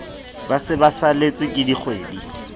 ba se ba saletsweke dikgwedi